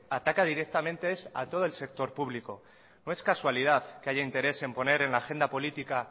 ataca directamente es a todo el sector público no es casualidad que haya interés en poner en la agenda política